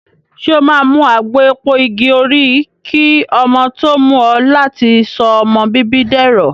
Ṣé o máa mu àgbo èpo igi òrí kí ọmọ tó mú ọ láti sọ ọmọ bíbí dẹ̀rọ̀.